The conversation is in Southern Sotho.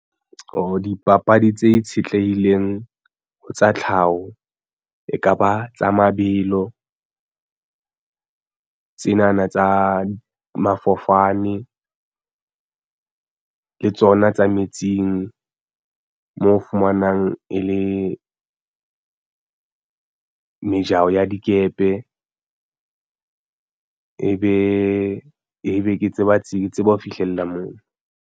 Oh dipapadi tse itshetlehileng ho tsa tlhaho ekaba tsa mabelo tsena na tsa mafofane le tsona tsa metsing mo fumanang e le mejaho ya dikepe ebe ke tseba ho fihlella moo.